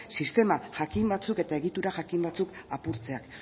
sistema jakin batzuk eta egitura jakin batzuk apurtzeak